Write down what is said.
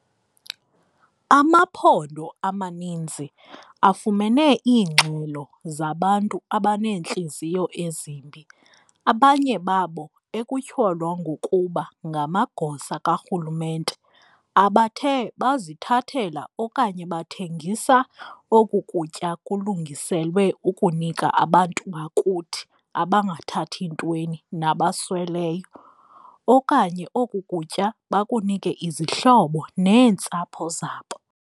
Amaphondo amaninzi afumene iingxelo zabantu abaneentliziyo ezimbi, abanye babo ekutyholwa ngokuba ngamagosa karhulumente, abathe bazithathela okanye bathengisa oku kutya kulungiselwe ukunika abantu bakuthi abangathathi ntweni nabasweleyo, okanye oku kutya bakunike izihlobo neentsapho zabo.